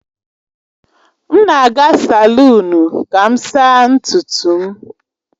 M na-aga salụnu ka m saa ntutu m